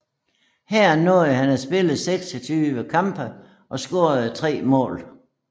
Her nåede han at spille 26 kampe og score 3 mål